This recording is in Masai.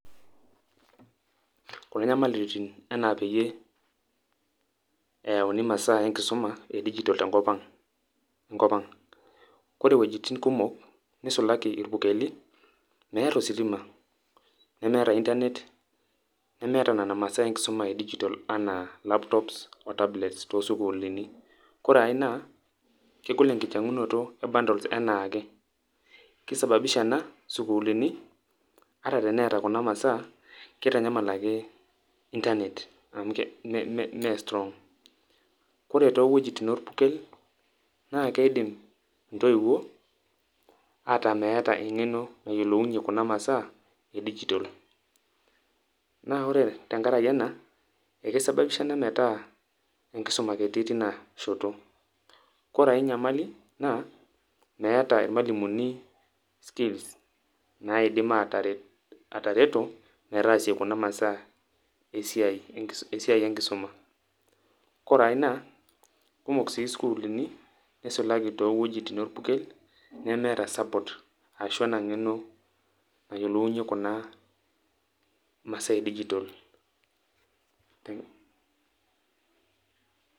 Kuna nyamalitin enaa peyie, eyauni masaa enkisuma edijitol tenkop ang'. Kore wuejiting' kumok, nisulaki irpukeli, meeta ositima. Nemeeta intanet, nemeeta nena masaa enkisuma edijitol enaa laptops o tablets tosukuulini. Kore ai naa, kegol enkinyang'unoto e bundles enaake. Ki sababisha ena isukuulini, ata teneeta kuna masaa, kitanyamal ake intanet amu me strong. Kore towuejiting orpukel, na kidim intoiwuo ataa meeta eng'eno nayiolounye kuna masaa, edijitol. Na ore tenkaraki ena, eki sababisha ena metaa enkisuma kiti teinashoto. Kore ai nyamali naa, meeta irmalimuni skills naidim ataret atareto metaasie kuna masaa esiai enkisuma. Kore ai naa, kumok si sukuulini neisulaki towuejiting orpukel, nemeeta support ashu ena ng'eno nayiolounye kuna masaa edijitol.